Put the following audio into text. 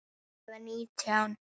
Eða nítján?